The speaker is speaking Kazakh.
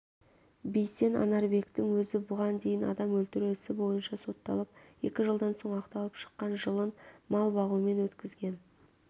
бейсен анарбектің өзі бұған дейін адам өлтіру ісі бойынша сотталып екі жылдан соң ақталып шыққан жылын мал бағумен өткізген